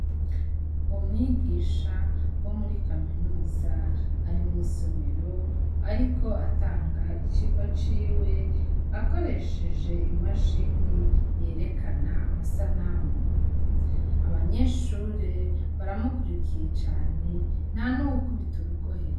Umwigisha wo muri kaminuza ari mw'isomero ariko atanga icigwa ciwe akoresheje imashini yerekana amasanamu, abanyeshure baramukurikiye cane ntanuwukubita urugohe.